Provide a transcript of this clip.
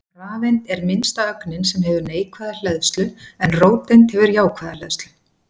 Rafeind er minnsta ögnin sem hefur neikvæða hleðslu en róteind hefur jákvæða hleðslu.